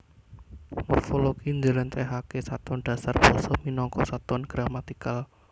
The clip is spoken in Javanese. Morfologi njlentrehake satuan dasar basa minangka satuan gramatikal